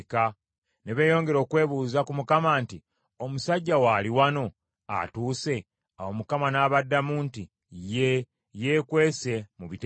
Ne beeyongera okwebuuza ku Mukama nti, “Omusajja w’ali wano, atuuse?” Awo Mukama n’abaddamu nti, “Ye, yeekwese mu bitereke.”